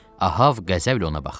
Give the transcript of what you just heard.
Ahav qəzəblə ona baxdı.